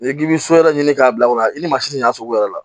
N'i k'i bɛ so yɛrɛ ɲini k'a bila o la i ni masi ɲansi sugu yɛrɛ